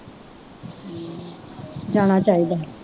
ਜਾਣਾ ਚਾਹੀਦਾ